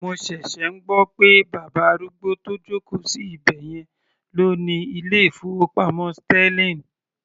Mo ṣẹ̀ṣẹ̀ ń gbọ́ pé bàbá arúgbó tó joko sí ibẹ̀yẹn ló ni ilé ìfowópamọ́ sterling.